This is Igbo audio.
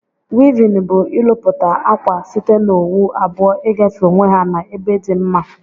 Wivin bu ilụputa akwa site na owu abụọ igafe onwe ha na ebe di mma.